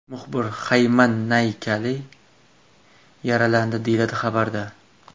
Muxbir Xayman Nankali yaralandi”, deyiladi xabarda.